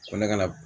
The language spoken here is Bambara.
Ko ne ka na